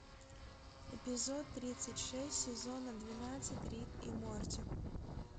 эпизод тридцать шесть сезона двенадцать рик и морти